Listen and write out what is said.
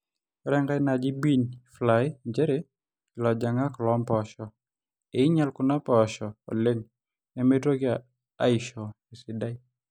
etii enkai naji bean fly njere ilojang'ak loompoosho; enyal kuna mpoosho oleng nemeitoki aaisho esidai